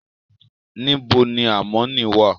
nibo ni amọ ni wa?